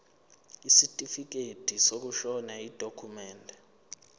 isitifikedi sokushona yidokhumende